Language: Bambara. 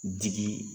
Jigi